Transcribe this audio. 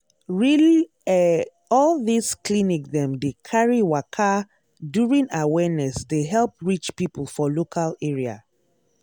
reall eh all this clinic dem dey carry waka during awareness dey help reach people for local area.